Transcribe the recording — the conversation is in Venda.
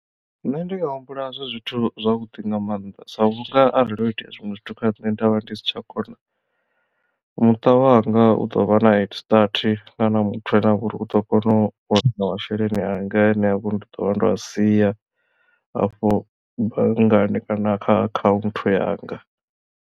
Nṋe ndi nga humbula zwi zwithu zwavhuḓi nga maanḓa sa vhunga arali ho itea zwiṅwe zwithu kha nṋe ndavha ndi si tsha kona muṱa wanga u ḓo vha na head start kana muthu ane avha uri u ḓo kona u wana masheleni anga ane ha vha uri ndi ḓo vha ndo a sia afho banngani kana kha akhanthu yanga.